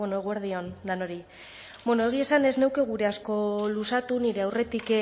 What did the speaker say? bueno eguerdi on danori bueno egie esan ez nuke gure asko luzatu nire aurretik